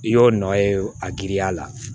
I y'o nɔ ye a giriya la